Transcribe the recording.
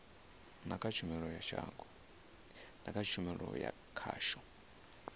na kha tshumelo ya khasho